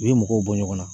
U ye mɔgɔw bɔ ɲɔgɔn na